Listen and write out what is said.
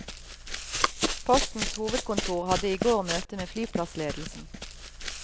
Postens hovedkontor hadde i går møte med flyplassledelsen.